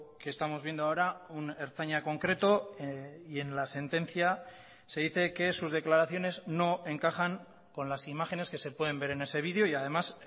que estamos viendo ahora un ertzaina concreto y en la sentencia se dice que sus declaraciones no encajan con las imágenes que se pueden ver en ese video y además